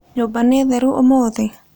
Nyũmba nĩ theru ũmũthĩ?